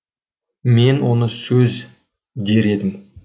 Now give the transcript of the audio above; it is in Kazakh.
мен оны сөз дер едім